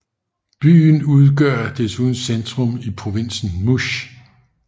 Byen udgør desuden centrum i provinsen Muş